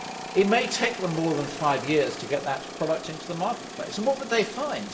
It may take them more than five years to get that product into the marketplace and what would they find?